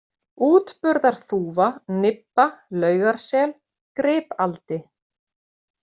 Útburðarþúfa, Nibba, Laugarsel, Gripaldi